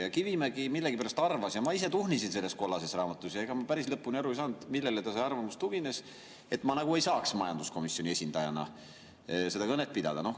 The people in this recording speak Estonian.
Ja Kivimägi millegipärast arvas – ma tuhnisin selles kollases raamatus, aga ega ma päris lõpuni aru ei saanud, millele tema arvamus tugines –, et ma nagu ei saaks majanduskomisjoni esindajana kõnet pidada.